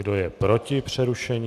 Kdo je proti přerušení?